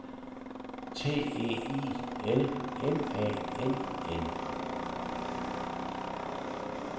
T E I L M A N N